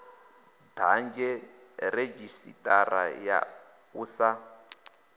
dadze redzhisitara ya u sa